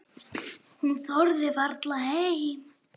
Hún þorði varla heim.